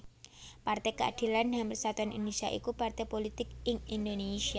Partai Keadilan dan Persatuan Indonésia iku partai pulitik ing Indonésia